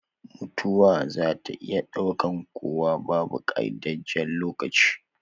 Mutuwa zaa ta iya daukan kowa, babu qaidajjen lokaci